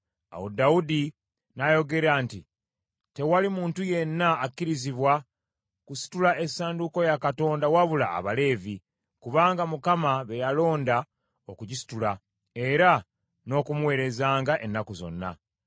Awo Dawudi n’ayogera nti, “Tewali muntu yenna akkirizibwa kusitula essanduuko ya Katonda wabula Abaleevi, kubanga Mukama be yalonda okugisitula, era n’okumuweerezanga ennaku zonna.”